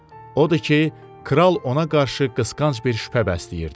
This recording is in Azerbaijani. Odur ki, kral ona qarşı qısqanc bir şübhə bəsləyirdi.